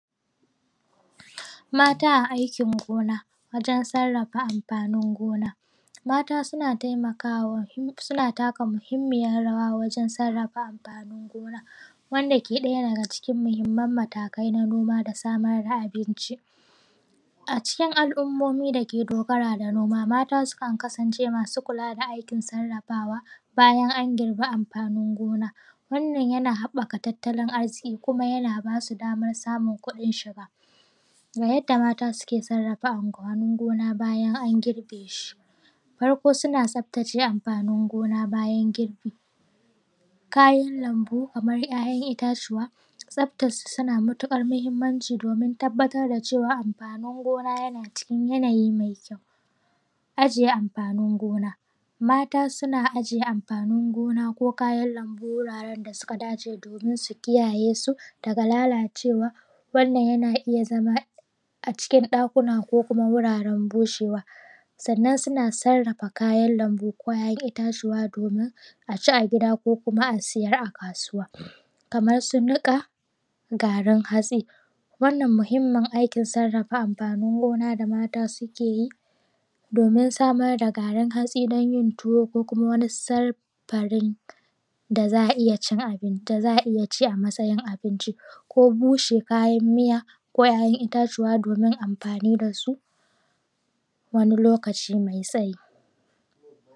Mata a aikin gona wajen sarrafa amfani gona mata suna taimakawa suna taka muhimmiyar rawa wajen sarrafa amfanin gona wanda ke ɗaya daga cikin muhimman matakai na noma da samar da abinci. A cikin al’ummomi da ke dogara da noma, mata sukan kasance masu kula da ayyukan sarrafawa bayan an girbe amfanin gona. Wannan yana haɓaka tattalin arziki kuma yana ba su damar samun kuɗin shiga. Ga yadda mata suke sarrafa amfanin gona bayan an girbe shi. Farko suna tsaftace amfanin gona bayan girbe, kayan lambu kamar ‘ya’yan itatuwa tsaftar yana da matuƙar muhimmanci, tabbatar da cewa amfanin gona yana cikin yanayi mai kyau. ajiye amfanin gona, mata suna ajiye amfanin gona ko kayan lambu wuraren da suka dace domin su kiyaye su daga lallacewa. Wannan yana iya zama daga cikin ɗakuna ko kuma wuraren bushewa, sannan suna sarrafa kayan lambu ko ‘ya’yan itatuwa domin a ci a gida ko kuma a siyar a kasuwa. kamar su niƙa garin hatsi, wannan muhimmin aikin sarrafa amfanin gona da mata suke yi, domin samar da garin hatsi don yin tuwo ko kuma wani sarfarin da za a iya cin abin, da za a ci a matsayin abinci, ko bushe kayan miya ko ‘ya’yan itatuwa domin ai amfani da su wani lokaci mai tsayi.